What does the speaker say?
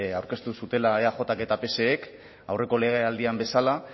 aurkeztu zutela eajk eta psek aurreko legealdian bezala